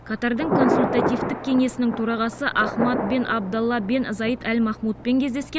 катардың консультативтік кеңесінің төрағасы ахмад бен абдалла бен заид әл махмудпен кездескен